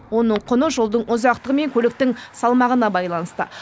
оның құны жолдың ұзақтығы мен көліктің салмағына байланысты